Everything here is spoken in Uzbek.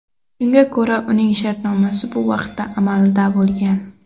Shunga ko‘ra, uning shartnomasi bu vaqtda amalda bo‘lgan.